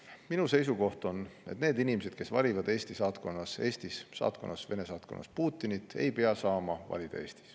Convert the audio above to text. Minu seisukoht on, et need inimesed, kes valivad Eestis Vene saatkonnas Putinit, ei pea saama Eestis valida.